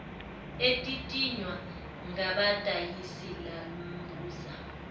etitinywa ngabadayisi lambuza